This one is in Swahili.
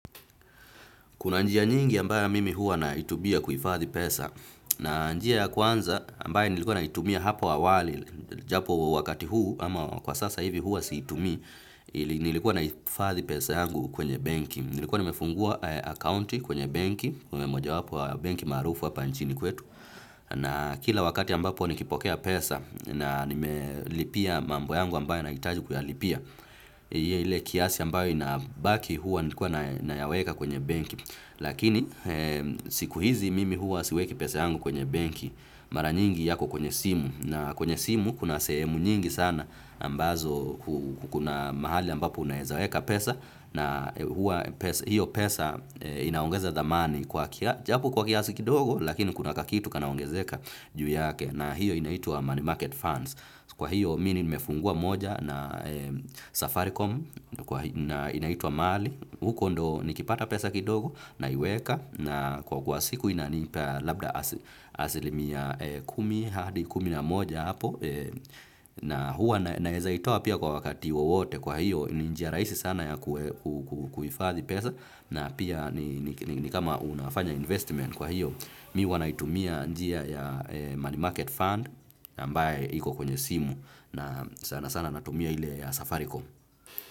Kuna njia nyingi ambayo mimi hua naitumia kuifadhi pesa na njia ya kwanza ambayo nilikuwa naitumia hapa awali, japo wakati huu ama kwa sasa hivi hua siitumi, nilikuwa naihifadhi pesa yangu kwenye benki. Nilikuwa nimefungua akaunti kwenye benki, kwenye moja wapo ya benki maarufu wapa nchini kwetu. Na kila wakati ambapo nikipokea pesa na nime lipia mambo yangu ambayo nahitaji kuyalipia. Ile kiasi ambayo inabaki hua nikuwa naya weka kwenye benki. Lakini siku hizi mimi huwa siweki pesa yangu kwenye benki mara nyingi yako kwenye simu na kwenye simu kuna semu nyingi sana ambazo kuna mahali ambapo unawezaweka pesa na huwa hiyo pesa inaongeza thamani japo kwa kiasi kidogo lakini kuna kakitu kanaongezeka juu yake na hiyo inaitua money market funds. Kwa hiyo mi ni nimefungua moja na Safaricom na inaitwa Mali. Huko ndo nikipata pesa kidogo naiweka na kwa kuwa siku inaniipa labda asilimia kumi, hadi kumi na moja hapo. Na huwa naweza itoa pia kwa wakati wowote kwa hiyo ni njia rahisi sana ya kuhifadhi pesa. Na pia ni kama unafanya investment kwa hiyo mi huwa naitumia njia ya money market fund ambae iko kwenye simu na sana sana natumia ile ya safaricom.